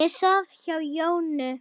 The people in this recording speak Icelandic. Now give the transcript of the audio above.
Ég svaf hjá Jónu.